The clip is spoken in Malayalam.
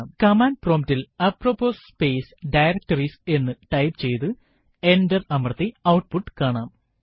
കമാൻഡ് prompt ൽ അപ്രൊപ്പോസ് സ്പേസ് ഡയറക്ടറീസ് എന്നു ടൈപ്പ് ചെയ്തു എന്റർ അമർത്തി ഔട്ട്പുട്ട് കാണാം